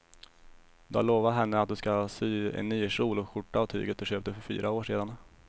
Du har lovat henne att du ska sy en kjol och skjorta av tyget du köpte för fyra år sedan.